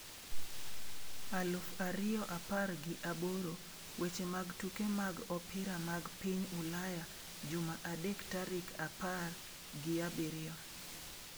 aluf ariyo apar gi aboro weche mag tuke mag opira mag piny Ulaya Juma adek tarik apar giabirio.